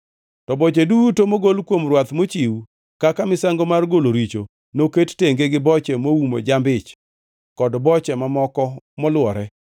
To boche duto mogol kuom rwath mochiw kaka misango mar golo richo noket tenge gi boche moumo jamb-ich kod boche mamoko molwore,